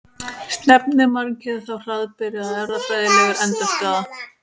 Stefnir mannkynið þá hraðbyri að erfðafræðilegri endastöð?